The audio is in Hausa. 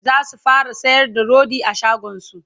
zasu fara sayar da rodi a shagonsu